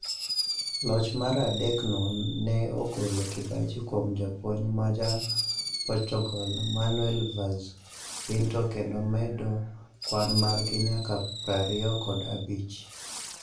Loch mar adek no ne ogolo kibaji kuom japuonj majaportugal Manuel Vaz Pinto kendo medo kwan margi nyaka prariyo kod abich